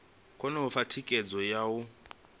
kone u fha thikhedzo yo